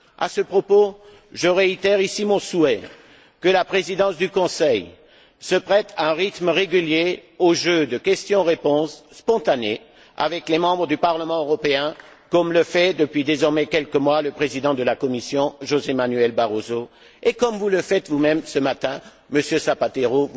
À ce propos, je réitère ici mon souhait que la Présidence du Conseil se prête à un rythme régulier au jeu de questions réponses spontanées avec les membres du Parlement européen, comme le fait depuis désormais quelques mois le président de la Commission, José Manuel Barroso, et comme vous le faites vous même ce matin, Monsieur Zapatero.